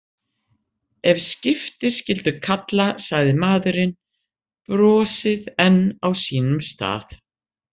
Ef skipti skyldi kalla, sagði maðurinn, brosið enn á sínum stað.